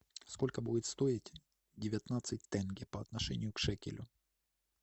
сколько будет стоить девятнадцать тенге по отношению к шекелю